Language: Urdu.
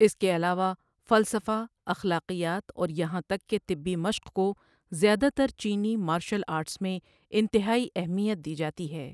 اس کے علاوہ، فلسفہ، اخلاقیات، اور یہاں تک کہ طبی مشق کو زیادہ تر چینی مارشل آرٹس میں انتہائی اہمیت دی جاتی ہے۔